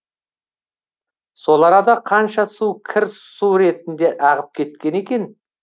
сол арада қанша су кір су ретінде ағып кеткен екен